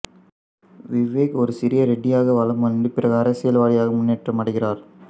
விவேக் ஒரு சிறிய ரெடியாக வலம் வந்து பிறகு அரசியலவதியாக முன்னேற்றம் அடைகிறார்